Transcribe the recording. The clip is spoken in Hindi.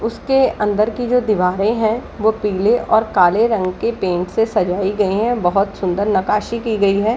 उसके अंदर की जो दीवारे है वो काले और पिले रंग की पेण्ट से सजाई गई है बहोत सुन्दर नकासी की गई है।